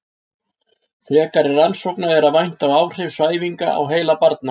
Frekari rannsókna er að vænta á áhrif svæfinga á heila barna.